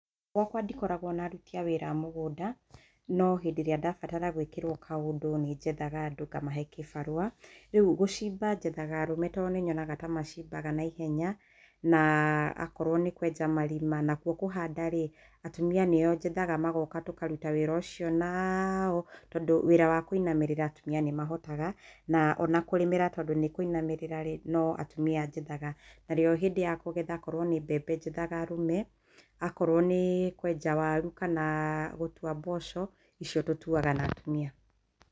Gũakwa ndikoragũo na aruti wĩra a mũgũnda, no hĩndĩ ĩrĩa ndabatara gũĩkĩrwo kaũndũ nĩ njethaga andũ ngamahe kĩbarũa. Rĩu gũcimba nyethaga arũme to nĩ nyonaga ta macimbaga naihenya, na akorwo nĩ kwenja marima. Nakuo kũhanda rĩ atumia nĩo njethaga, magoka tũkaruta wĩra ũcio nao, tondũ nĩ wĩra wa kũinamĩrĩra atumia nĩ mahotaga. Na kũrĩmĩra tondũ nĩ wa kũinamĩrĩra rĩ, no atumia njethaga. Narĩo hĩndĩ ya kũgetha akorwo nĩ mbembe njethaga arũme. Akorwo nĩ kwenja waru kana gũtua mboco, icio tũtuaga na atumia.